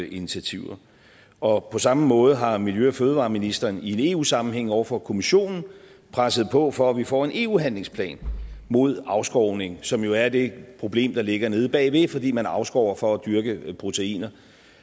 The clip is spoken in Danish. initiativer og på samme måde har miljø og fødevareministeren i en eu sammenhæng over for kommissionen presset på for at vi får en eu handlingsplan mod afskovning som jo er det problem der ligger nede bagved fordi man afskover for at dyrke proteiner